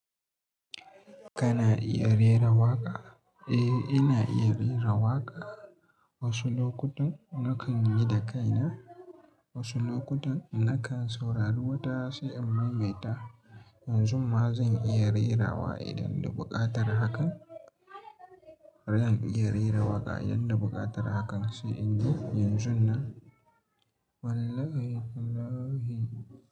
Kana iya rera waƙa? Eh, ina iya rera waƙa. Wasu lokutan nakan yi da kaina, wasu lokutan nakan saurari wata sai in maimaita. Yanzu ma zan iya rera wa idan da buƙatar hakan. Zan iya rera waƙa idan da buƙatar hakan sai in yi yanzun nan. Wallahi tallahi.